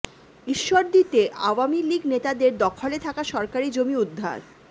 ঈশ্বরদীতে আওয়ামী লীগ নেতাদের দখলে থাকা সরকারি জমি উদ্ধার